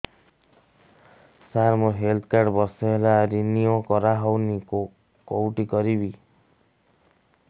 ସାର ମୋର health card ବର୍ଷେ ହେଲା ରିନିଓ କରା ହଉନି କଉଠି କରିବି